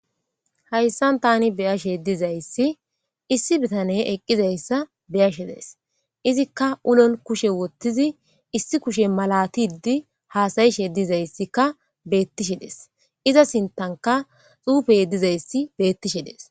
Hayssan tani beyashe dizayssi issi bitane eqqizayssa beyashe dees izikka ulon kushe wottizi issi kushe malatidi haasayishe dizayssika beettishe dees iza sintanka xuufey dizayssi bettishe dees.